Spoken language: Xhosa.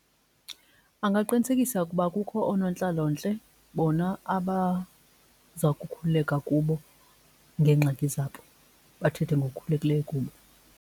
Angaqinisekisa ukuba kukho oonontlalontle bona abaza kukhululeka kubo ngeengxaki zabo, bathethe ngokukhululekileyo kubo.